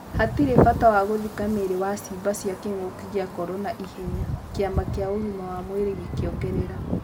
Hatirĩ bata wa gũthika mĩĩri wa ciimba cia Kĩng'ũki gĩa Korona ihenya, Kĩama Kĩa ũgima wa Mwirĩ gĩkĩongerera.